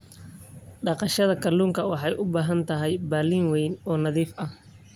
Dhaqashada kalluunka waxay u baahan tahay balli weyn oo nadiif ah.